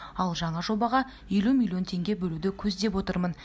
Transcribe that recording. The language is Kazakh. ал жаңа жобаға елу миллион теңге бөлуді көздеп отырмын